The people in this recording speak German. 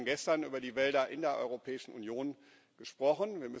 Wir haben gestern über die Wälder in der Europäischen Union gesprochen.